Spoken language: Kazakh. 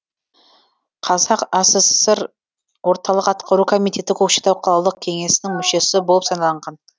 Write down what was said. қазақ асср орталық атқару комитеті көкшетау қалалық кеңесінің мүшесі болып сайланған